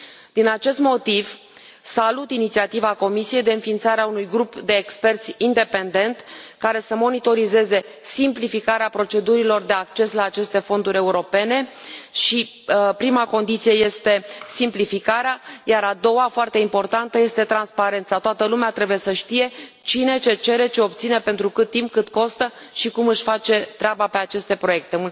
Din acest motiv, salut inițiativa Comisiei de înființare a unui grup de experți independent care să monitorizeze simplificarea procedurilor de acces la aceste fonduri europene și prima condiție este simplificarea, iar a doua, foarte importantă, este transparența toată lumea trebuie să știe cine ce cere, ce obține, pentru cât timp, cât costă și cum își face treaba pe aceste proiecte.